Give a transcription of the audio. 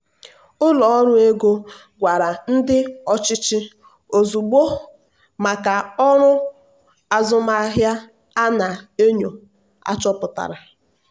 ụlọ ọrụ ego gwara ndị ọchịchị ozugbo maka ọrụ azụmahịa a na-enyo achọpụtara.